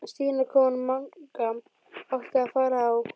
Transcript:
Stína kona Manga átti að fara á